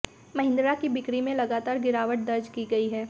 महिंद्रा की बिक्री में भी लगातार गिरावट दर्ज की गयी है